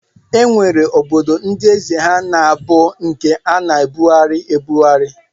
E nwere obodo ndị eze ha na-abụ nke a na-ebugharị ebughari